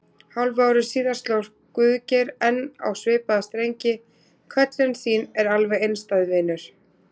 Hálfu ári síðar sló Guðgeir enn á svipaða strengi: Köllun þín er alveg einstæð, vinur.